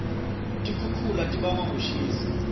tikixukhula tibangwa kushisa